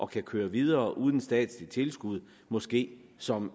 kan køre videre uden statsligt tilskud måske som